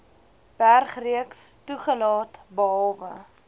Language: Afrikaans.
bergreeks toegelaat behalwe